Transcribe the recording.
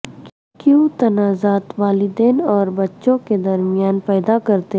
کیوں تنازعات والدین اور بچوں کے درمیان پیدا کرتے